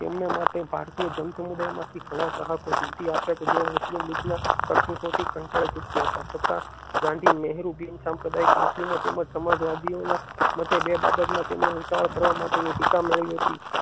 તમેને માટે ભારતીય જાણ સમુદાય માંથી ઘણા ચાહકો જીત્યા કે જેઓ મુસ્લિમ લીગ ના કરતૂતો થી કંટાળી ચુક્યા હતા છતાં ગાંધી નહેરુ બિન સાંપ્રદાય મુસ્લિમો તેમજ સમાજવાદીઓ ના મતે બે બાબતમાં તેમણે ઉતાવળ કરવાની ટીકા મળી હતી.